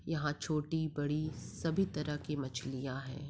यहाँ छोटी बड़ी सभी तरह की मछलियाँ हैं।